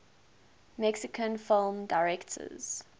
mexican film directors